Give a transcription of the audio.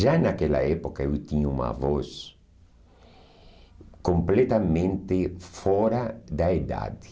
Já naquela época eu tinha uma voz completamente fora da idade.